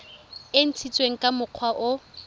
e ntshitsweng ka mokgwa o